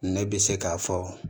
Ne bɛ se k'a fɔ